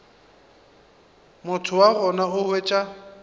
motho wa gona o hwetša